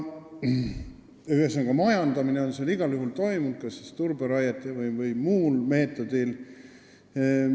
Ühesõnaga, majandamine on seal igal juhul toimunud, kas siis turberaiena või muul meetodil.